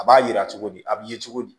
A b'a yira cogo di a b'i ye cogo di